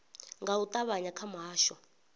nga u ṱavhanya kha muhasho